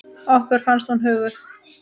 Okkur fannst hún huguð.